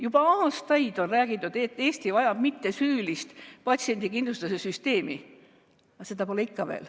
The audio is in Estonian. Juba aastaid on räägitud, et Eesti vajab mittesüülist patsiendikindlustuse süsteemi, aga seda pole ikka veel.